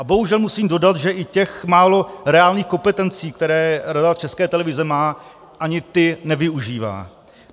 A bohužel musím dodat, že i těch málo reálných kompetencí, které Rada České televize má, ani ty nevyužívá.